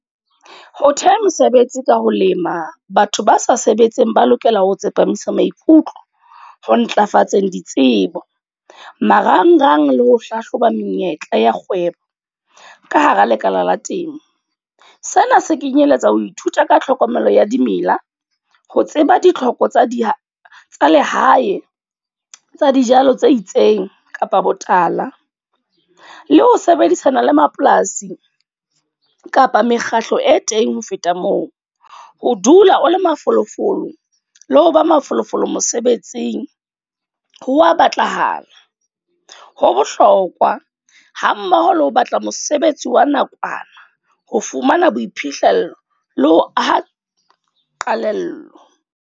Ho theha mosebetsi ka ho lema, batho ba sa sebetseng ba lokela ho tsepamisa maikutlo ho ntlafatseng ditsebo. Marangrang le ho hlahloba menyetla ya kgwebo, ka hara lekala la temo. Sena se kenyeletsa ho ithuta ka tlhokomelo ya dimela, ho tseba ditlhoko tsa di tsa lehae tsa dijalo tse itseng kapa botala. Le ho sebedisana le mapolasi kapa mekgatlo e teng. Ho feta moo, ho dula o le mafolofolo le ho ba mafolofolo mosebetsing ha wa batlahala. Ho bohlokwa hammoho le ho batla mosebetsi wa nakwana, ho fumana boiphihlello le ho aha qalello.